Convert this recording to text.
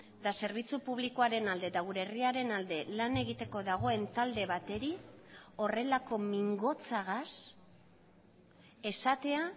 eta zerbitzu publikoaren alde eta gure herriaren alde lan egiteko dagoen talde bateri horrelako mingotsagaz esatea